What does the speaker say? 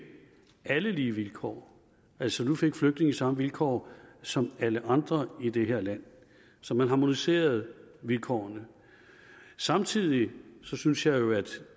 alle lige vilkår altså nu fik flygtninge samme vilkår som alle andre i det her land så man harmoniserede vilkårene samtidig synes jeg jo at